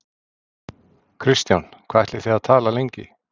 Kristján: Hvað ætlið þið að tala lengi?